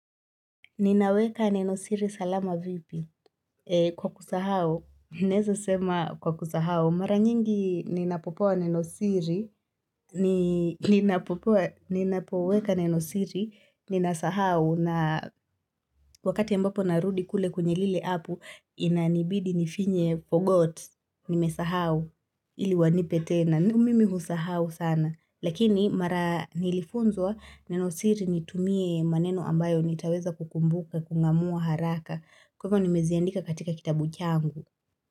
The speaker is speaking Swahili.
Ninaweka Nenosiri salama vipi? Kwa kusahao, neza sema kwa kusahao. Mara nyingi ninapopoa Nenosiri, ninapopoa, ninapoweka Nenosiri, ninasahao na wakati mbapo narudi kule kwenye lile apu, inanibidi nifinye forgot, nimesahao, ili wanipe tena. Tumimi husahau sana, lakini mara nilifunzwa nenosiri nitumie maneno ambayo nitaweza kukumbuka, kung`amua haraka. Kwa hivyo nimeziandika katika kitabu changu.